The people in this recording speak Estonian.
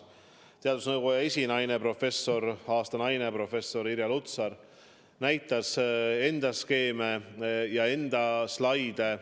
Teadusnõukoja esinaine, aasta naine professor Irja Lutsar näitas meile oma skeeme ja slaide.